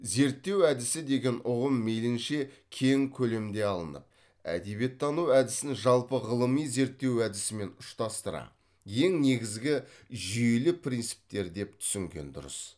зерттеу әдісі деген ұғым мейлінше кең көлемде алынып әдебиеттану әдісін жалпы ғылыми зерттеу әдісімен ұштастыра ең негізгі жүйелі принциптер деп түсінген дұрыс